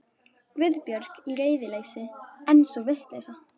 Guðbjörg. í reiðileysi, en sú vitleysa.